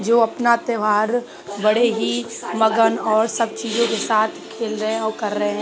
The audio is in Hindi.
जो अपना त्यौहार बड़े ही मगन और सब चीजों के साथ खेल रहे हैं और कर रहे हैं।